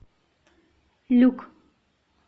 люк